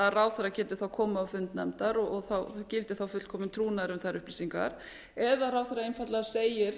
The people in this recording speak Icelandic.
að ráðherra geti þá komið á fund nefndar og gildi þá fullkominn trúnaður um þær upplýsingar eða ráðherra einfaldlega segir